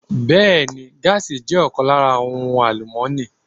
Bẹẹni, gaasi jẹ́ ọ̀kan lára àwọn ohun àlùmọ́ni.